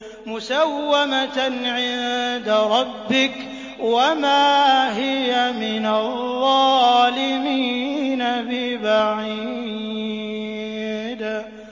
مُّسَوَّمَةً عِندَ رَبِّكَ ۖ وَمَا هِيَ مِنَ الظَّالِمِينَ بِبَعِيدٍ